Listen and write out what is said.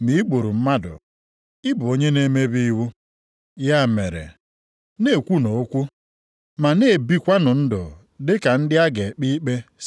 Nʼihi na onye ahụ sịrị, “Akwala iko,” + 2:11 \+xt Ọpụ 20:14; Dit 5:18\+xt* bụkwa onye sịrị, “Egbula mmadụ.” + 2:11 \+xt Ọpụ 20:13; Dit 5:17\+xt* Ya mere, ọ bụrụ na ị kwaghị iko ma i gburu mmadụ, ị bụ onye na-emebi iwu.